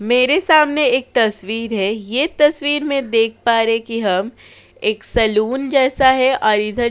मेरे सामने एक तस्वीर है। ये तस्वीर में देख पा रहे है कि हम एक सलून जैसा है और इधर --